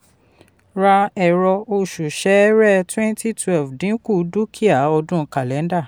ra ẹ̀rọ oṣù sẹẹrẹ twenty twelve dínkù dúkìá ọdún kàlẹ́ńdà.